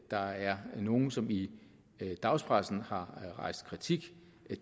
der er nogle som i dagspressen har rejst kritik